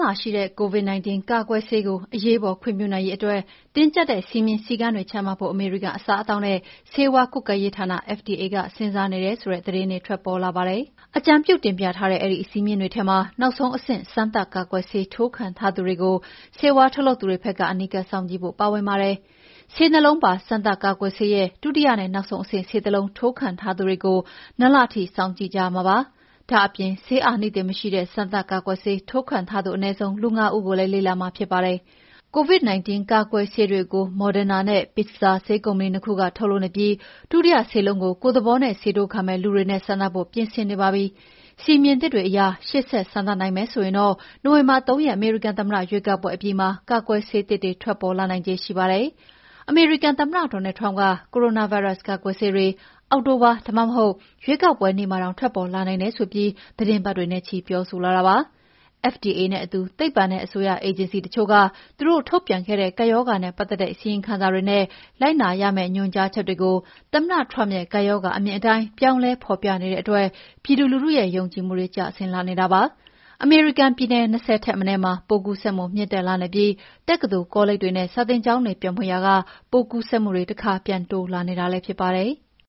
လာရှိတဲ့ COVID-19 ကာကွယ်ဆေးကို အရေးပေါ် ခွင့်ပြုနိုင်ရေးအတွက် တင်းကြပ်တဲ့ စည်းမျဉ်းစည်းကမ်းတွေချမှတ်ဖို့ အမေရိကန် အစားအသောက်နဲ့ ဆေးဝါးကွပ်ကဲရေးဌာန FDA ကစဉ်းစားနေတယ်ဆိုတဲ့သတင်းတွေ ထွက်ပေါ်လာပါတယ်။ အကြံပြုတင်ပြထားတဲ့ အဲဒီစည်းမျဉ်းတွေထဲမှာ နောက်ဆုံးအဆင့် စမ်းသပ်ကာကွယ်ဆေးထိုးခံထားသူတွေကို ဆေးဝါးထုတ်လုပ်သူတွေဘက်က အနီးကပ်စောင့်ကြည့်ဖို့ပါဝင်ပါတယ်။ ဆေး နှစ် လုံးပါ စမ်းသပ်ကာကွယ်ဆေးရဲ့ ဒုတိယနဲ့ နောက်ဆုံးအဆင့်ဆေးတလုံး ထိုးခံထားသူတွေကို ၂ လထိစောင့်ကြည့်ရမှာဖြစ်ပါတယ်။ ဒါ့အပြင် ဆေးအာနိသင်မရှိတဲ့ စမ်းသပ် ကာကွယ်ဆေးထိုးခံထားသူ အနည်းဆုံး လူ ငါး ဦးကိုလည်း လေ့လာရမှာဖြစ်ပါတယ်။ COVID-19 ကာကွယ်ဆေးတွေကို Moderna နဲ့ Pfizer ဆေးကုမ္ပဏီ ၂ ခုက ထုတ်လုပ်နေပြီး ဒုတိယဆေးလုံးကို ကိုယ့်သဘောနဲ့ ဆေးထိုးခံမယ့် လူတွေနဲ့ စမ်းသပ်ဖို့ ပြင်ဆင်နေပါပြီ။ စည်းမျဉ်းသစ်တွေအရ ရှေ့ဆက်စမ်းသပ်နိုင်မယ်ဆိုရင်တော့ နိုဝင်ဘာ ၃ ရက် အမေရိကန်သမ္မတရွေးကောက်ပွဲအပြီးမှာ ကာကွယ်ဆေးသစ်တွေ ထွက်ပေါ်လာနိုင်ခြေ ရှိပါတယ်။ အမေရိကန်သမ္မတ Donald Trump က ကိုရိုနာဗိုင်းရပ်စ်ကာကွယ်ဆေးတွေ အောက်တိုဘာ ဒါမှမဟုတ် ရွေးကောက်ပွဲနေ့မှာတောင် ထွက်ပေါ်လာနိုင်တယ်ဆိုပြီး သီတင်းပတ်တွေနဲ့ချီပြောဆိုလာတာဖြစ်ပါတယ်။ FDA နဲ့အတူ သိပ္ပံနဲ့ အစိုးရအေဂျင်စီတွေက သူတို့ထုတ်ပြန်ခဲ့တဲ့ ကပ်ရောဂါနဲ့ ပတ်သက်တဲ့ အစီရင်ခံစာတွေနဲ့ လိုက်နာရမယ့် ညွှန်ကြားချက်တွေကို သမ္မတ Trump ရဲ့ ကပ်ရောဂါ အမြင်အတိုင်း ပြောင်းလဲဖော်ပြနေတဲ့အတွက် ပြည်သူလူထုရဲ့ ယုံကြည်မှုတွေ ကျဆင်းလာနေတာပါ။ အမေရိကန်ပြည်နည် ၂၀ ထက်မနည်းမှာ ပိုးကူးစက်မှုမြင့်တက်နေပြီး တက္ကသိုလ်၊ ကောလိပ်တွေနဲ့ စာသင်ကျောင်းတွေပြန်ဖွင့်ရာက ပိုးကူးစက်မှုတခါ ပြန်တိုးလာနေတာလည်းဖြစ်ပါတယ်။